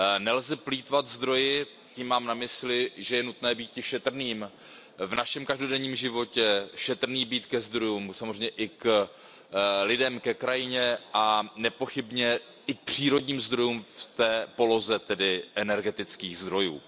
Nelze plýtvat zdroji, tím mám na mysli, že je nutné býti šetrným v našem každodenním životě, být šetrný ke zdrojům, samozřejmě i k lidem, ke krajině a nepochybně i k přírodním zdrojům v poloze energetických zdrojů.